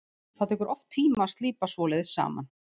Það tekur oft tíma að slípa svoleiðis saman.